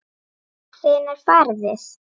Hvenær farið þið?